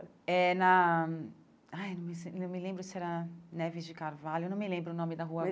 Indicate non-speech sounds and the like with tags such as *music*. É na... Ai, *unintelligible* eu não me lembro se era Neves de Carvalho, eu não me lembro o nome da rua.